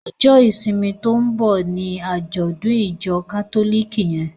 Ọjọ́ ìsinmi to ń bọ́ ní àjọ́dùn ìjọ kátólìkì yẹn.